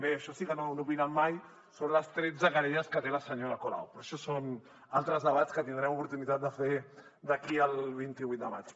d’això sí que no n’han opinat mai són les tretze querelles que té la senyora colau però això són altres debats que tindrem oportunitat de fer d’aquí al vint vuit de maig